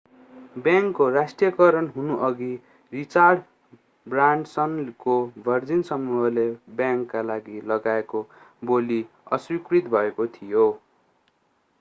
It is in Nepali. बैंकको राष्ट्रियकरण हुनुअघि रिचार्ड ब्रानसनको भर्जिन समूहले बैंकका लागि लगाएको बोली अस्वीकृत भएको थियो